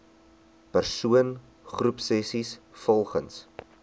persoon groepsessies volgens